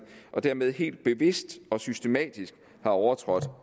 og dermed helt bevidst og systematisk har overtrådt